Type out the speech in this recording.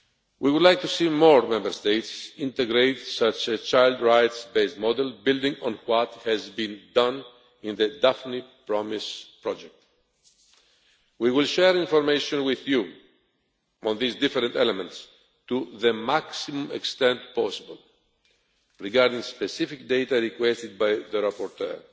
We would like to see more Member States integrate such child rights based models, building on what has been done in the Daphne Promise project. We will share information with you on these different elements to the maximum extent possible regarding specific data requested by the rapporteur.